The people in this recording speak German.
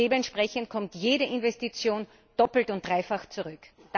Dementsprechend kommt jede Investition doppelt und dreifach zurück.